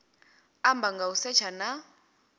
amba nga u setsha na